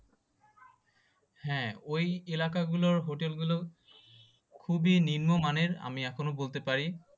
হ্যাঁ ওই এলাকা গুলোর hotel গুলো খুবই নিম্নমানের আমি এখনো বলতে পারি।